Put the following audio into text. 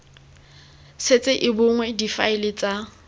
setse e bonwe difaele tsa